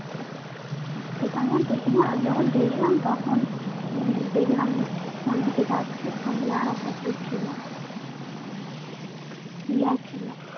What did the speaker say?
সেটা আমি আর দেখিনি আমি যখন দেখলাম তখন উম দেখলাম ঐদিকে যাচ্ছে সঙ্গে আরেকটা কে ছিল হিয়া ছিল